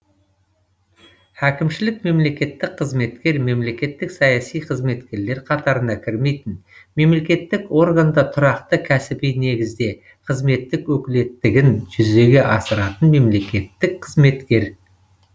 әкімшілік мемлекеттік қызметкер мемлекеттік саяси қызметкерлер қатарына кірмейтін мемлекеттік органда тұрақты кәсіби негізде қызметтік өкілеттігін жүзеге асыратын мемлекеттік қызметкер